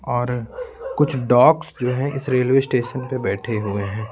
और कुछ डॉग्स जो हैं इस रेलवे स्टेशन पर बैठे हुए हैं।